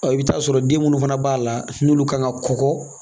i bɛ t'a sɔrɔ den minnu fana b'a la n'olu kan ka kɔgɔ